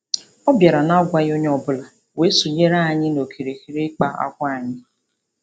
Ọ bịara nagwaghị onye ọbụla wee sonyere anyi nokirikiri ịkpa akwa anyị.